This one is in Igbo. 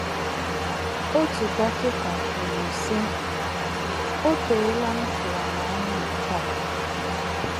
Otu dọkịta kwuru, sị: “ O teela m tụwara anya nke a! ”